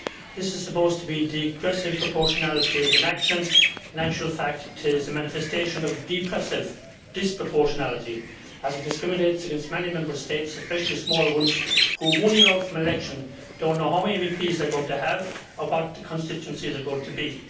This is supposed to be degressive proportionality in action. In actual fact it is a manifestation of depressive disproportionality, as it discriminates against many Member States, especially small ones which, one year off from elections, do not know how many MEPs they are going to have and what their constituencies are going to be.